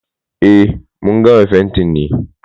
Eh, mun gama fentin ne.